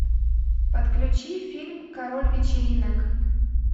подключи фильм король вечеринок